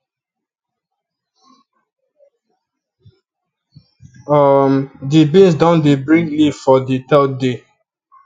um di beans don dey bring leaf for di third day